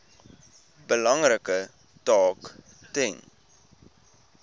belangrike taak ten